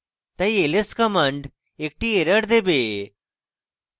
তাই ls command একটি error দেবে